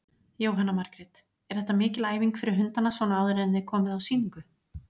Jóhanna Margrét: Er þetta mikil æfing fyrir hundana svona áður en þið komið á sýningu?